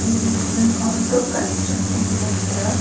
இது ஒரு auto constructing centre .